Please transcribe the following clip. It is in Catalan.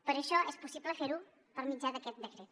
per això és possible fer ho per mitjà d’aquest decret